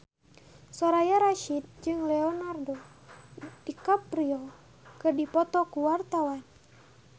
Soraya Rasyid jeung Leonardo DiCaprio keur dipoto ku wartawan